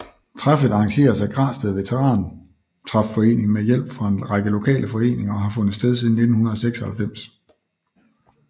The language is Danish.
Træffet arrangeres af Græsted Veterantræfforening med hjælp fra en række lokale foreninger og har fundet sted siden 1996